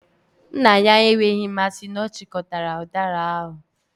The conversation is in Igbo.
Nna ya enweghị mmasị na ọ chịkọtara udara ahu.